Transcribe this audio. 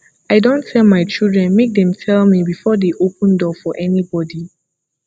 i don tell my children make dem tell me before dey open door for anybody